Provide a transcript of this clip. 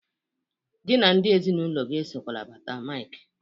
Gị na ndị ezinaụlọ gey esokwana bata Maịk!